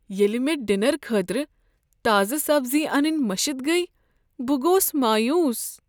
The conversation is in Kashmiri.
ییٚلہ مے٘ ڈنر خٲطرٕ تازٕ سبزی انٕنۍ مشِتھ گٔیہ بہٕ گوس مایوٗس۔